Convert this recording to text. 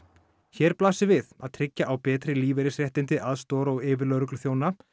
hér blasir við að tryggja á betri lífeyrisréttindi aðstoðar og yfirlögregluþjóna